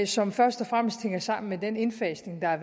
som først og fremmest hænger sammen med den indfasning af